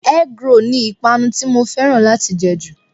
Egg roll ni ìpànu tí mo fẹ́ràn láti jẹ jù.